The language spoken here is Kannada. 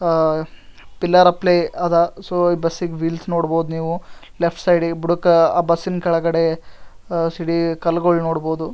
ಆಹ್ಹ್ ಪಿಲ್ಲರ್ ಅಪ್ಲೈ ಅದ ಸೊ ಬಸ್ಸಿದ್ ವೀಲ್ಸ್ ನೋಡಬಹುದು ನೀವು ಲೆಫ್ಟ್ ಸೈಡ್ ಬುಡಕ್ಕ ಬುಸ್ಸಿನ್ ಕೆಳಗಡೆ ಸಿಡಿ ಕಲ್ಲಗಳನ್ ನೋಡಬಹುದು.